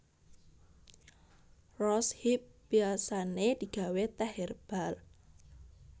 Rose hip biasané digawé tèh hèrbal